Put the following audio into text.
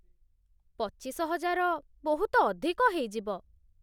ପଚିଶ ହଜାର ବହୁତ ଅଧିକ ହେଇଯିବ ।